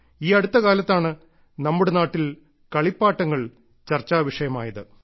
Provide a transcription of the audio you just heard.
ഈ അടുത്ത കാലത്താണ് നമ്മുടെ നാട്ടിൽ കളിപ്പാട്ടങ്ങൾ ചർച്ചാവിഷയമായത്